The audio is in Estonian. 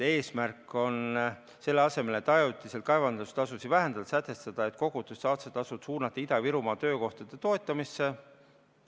eesmärk on selle asemel, et ajutiselt kaevandustasusid vähendada, sätestada, et kogutud saastetasud suunata Ida-Virumaa töökohtade toetamisse.